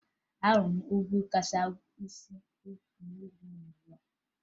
Ahụrụ m ugwu kachasị ogo n'ụwa a